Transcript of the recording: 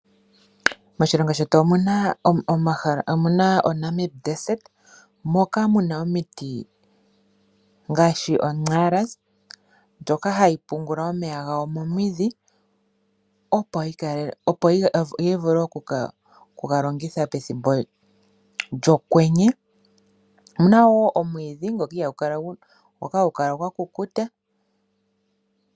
Moshilongo shetu omuna oNamib ombuga moka, muna omiti ngashi onxara pyoka hayi pungula omeya gawo momidhi opo yivule oku galogitha pethimbo lyokwenye, muna woo omwidhi ngoka hagukala kwakukuta.